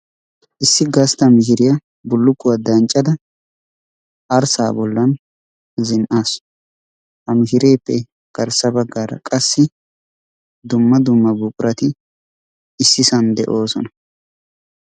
Issi gastta mishirya bulukkuwa danccadda Arissaa bollan zin'assu. Ha mishiregeppe garssa baggara qassi dumma dumma buqqurati ississan de'oosona.